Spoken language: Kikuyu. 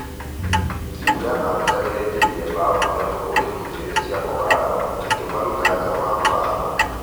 Timũ ya napsa ĩraingĩririe mbao ithatũ kũri igĩri cia k'ogalo ĩkĩmaruta jaa wa muthako.